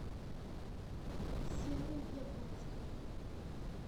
серый яблонских